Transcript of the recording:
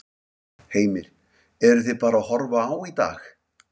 Heimir: Eruð þið bara að horfa á í dag?